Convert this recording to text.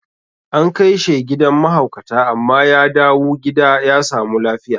An kaishe gidan ma haukata amma ya dawu gida ya samu lafiya